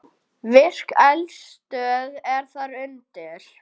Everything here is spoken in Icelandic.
Virk eldstöð er þar undir.